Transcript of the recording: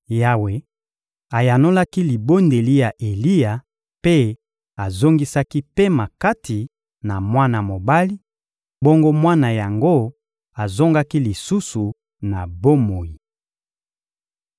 Yawe ayanolaki libondeli ya Eliya mpe azongisaki pema kati na mwana mobali, bongo mwana yango azongaki lisusu na bomoi.